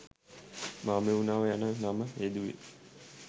මහමෙව්නාව යන නම යෙදුවේ